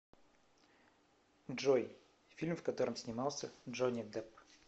джой фильм в котором снимался джонни дэпп